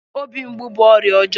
Obi mgbu bú ọrịa ọjọọ